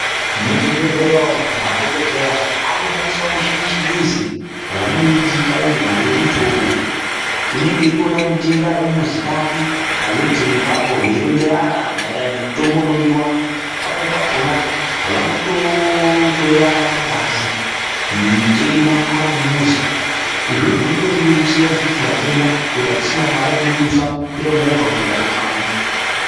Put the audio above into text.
Mu zvibhedhleya umu madhokodheya aku shandisawo mishini ye chingezi vanoiti kai ma leputopu unenge eito ona mutenda ari ku muzi kake pa leputopu ipapo vei ronzerana maererano ne mutombo unodiwa pamweni pakona vanoto hloyana ngazi mutenda ari kumuzi izvozvo zvinoto rerutsira isusu vatenda kuti atisisina mari yatino dusa ku kwira movha kuenda ku taundi.